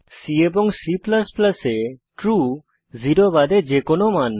C এবং C এ true 0 বাদে যে কোনো মান